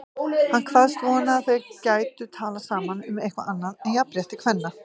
Hann kvaðst vona að þau gætu talað saman um eitthvað annað en jafnrétti kvenna.